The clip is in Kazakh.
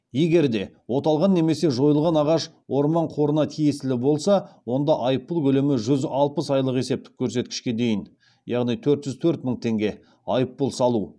егер де оталған немесе жойылған ағаш орман қорына тиесілі болса онда айппұл көлемі жүз алпыс айлық есептік көрсеткішке дейін яғни төрт жүз төрт мың теңге айыппұл салу